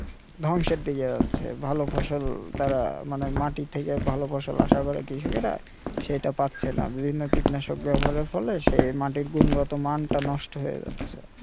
ধ্বংসের দিকে যাচ্ছে ভালো ফসল তারা মানে মাটি থেকে ভালো ফসল আশা করে কৃষিকেরা সেটা পাচ্ছে না বিভিন্ন কীটনাশক ব্যবহারের ফলে সেই মাটির গুণগত মান টা নষ্ট হয়ে যাচ্ছে